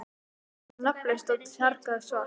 Það var nafnlaust og tjargað svart.